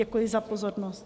Děkuji za pozornost.